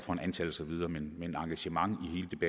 om antal og så videre men men engagementet